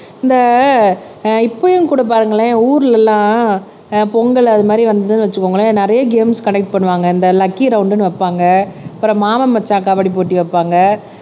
இந்த இப்பயும் கூட பாருங்களேன் ஊர்ல எல்லாம் ஆஹ் பொங்கல் அது மாதிரி வந்ததுன்னு வச்சுக்கோங்களேன் நிறைய கேம்ஸ் கன்டக்ட் பண்ணுவாங்க இந்த லக்கி ரவுண்டுன்னு வைப்பாங்க அப்புறம் மாமன் மச்சான் கபடி போட்டி வைப்பாங்க